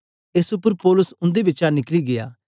एस उपर पौलुस उन्दे बिचा निकली गीया